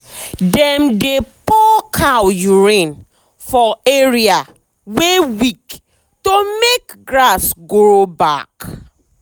dem dey pour cow urine for area wey weak to make grass grow back.